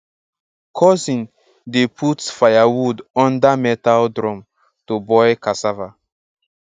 cousin dey put firewood under metal drum to boil cassava